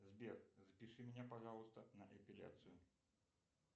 сбер запиши меня пожалуйста на эпиляцию